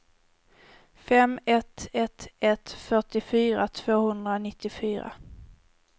fem ett ett ett fyrtiofyra tvåhundranittiofyra